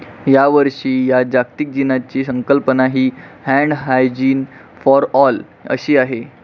यावर्षीच्या या जागतिक दिनाची संकल्पना ही 'हॅण्ड हायजीन फॉर ऑल' अशी आहे.